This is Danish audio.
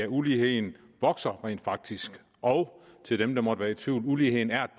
uligheden vokser rent faktisk og til dem der måtte være i tvivl uligheden er